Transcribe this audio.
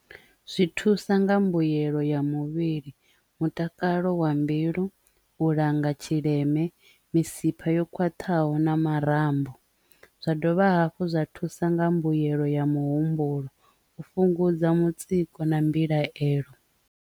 Zwi thusa nga mbuyelo ya muvhili mutakalo wa mbilu, u langa tshileme misipha yo khwaṱhaho na marambo zwa dovha hafhu zwa thusa nga mbuyelo ya muhumbulo u fhungudza mutsiko na mbilaelo.